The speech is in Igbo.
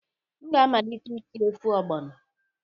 M ga-amalite isi ofe ogbono